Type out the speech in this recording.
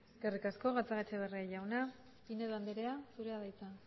eskerrik asko gatzagaetxebarria jauna pinedo andrea zurea da hitza